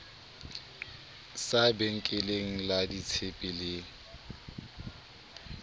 sa benkeleng la ditshepe le